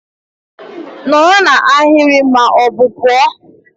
Nọrọ na ahịrị ma ọ bụ pụọ!